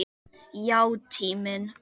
Já, tíminn.